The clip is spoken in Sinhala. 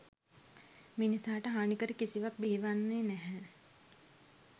මිනිසාට හානිකර කිසිවක් බිහි වන්නේ නැහැ.